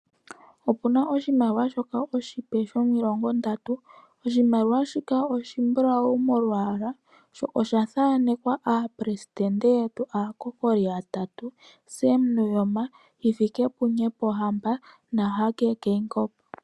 Opu na oshimaliwa shoka oshipe shomilongo ndatu, oshimaliwa shika oshimbulawu molwaala sho osha thaanekwa aaleli yoshilongo, aakokoli yatatu, Sam Nuujoma, Nghifikepunye Pohamba naHage Geingob.